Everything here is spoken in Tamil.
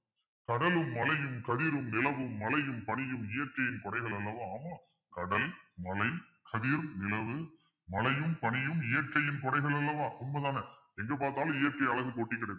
கடலும், மலையும், கதிரும், நிலவும், மலையும், பனியும் இயற்கையின் குடைகளல்லவா கடல், மலை, கதிர், நிலவு, மலையும், பனியும் இயற்கையின் குடைகள் அல்லவா உண்மைதான எங்க பார்த்தாலும் இயற்கை அழகு கொட்டிக்கிடக்குது.